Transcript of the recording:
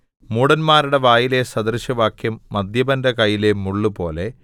മൂഢന്മാരുടെ വായിലെ സദൃശവാക്യം മദ്യപന്റെ കയ്യിലെ മുള്ളുപോലെ